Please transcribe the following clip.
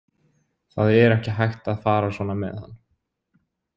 Það er ekki hægt að fara svona með hann.